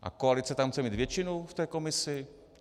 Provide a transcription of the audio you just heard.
A koalice tam chce mít většinu v té komisi?